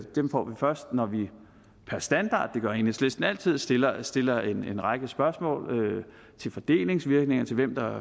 dem får vi først når vi per standard det gør enhedslisten altid stiller stiller en række spørgsmål til fordelingsvirkninger til hvem der